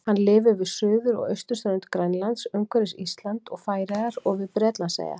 Hann lifir við suður- og austurströnd Grænlands, umhverfis Ísland og Færeyjar og við Bretlandseyjar.